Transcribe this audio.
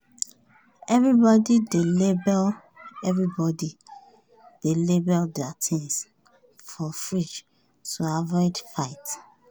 everybody dey label everybody dey label their things for fridge to avoid fight.